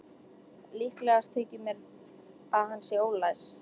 Líklegast þykir mér, að hann sé ólæs.